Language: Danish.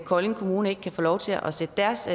kolding kommune ikke kan få lov til at sætte deres